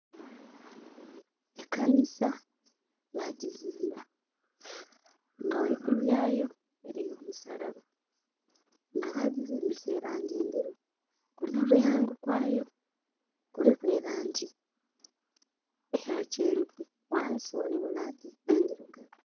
Ekanisa bajjizimba nga waigulu yayo eriyo omusalaba nga bajjizimbisa elangi nderu, kumulyango gwayo kuliku elangi eya kyenvu, wansi waliwo langi endirugavu